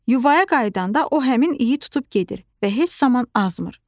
Yuaya qayıdanda o həmin iyi tutub gedir və heç zaman azmır.